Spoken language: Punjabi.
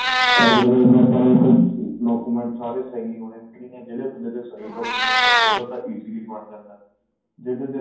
document ਸਾਰੇ ਸਹੀ ਹੋਣੇ ਜਿਹੜੇ ਥੋਡੇ ਕੋਲ ਸਹੀ document ਆ ਉਹਦਾ ਤਾਂ easy ਬਣ ਜੰਦਾ ਜੇਕਰ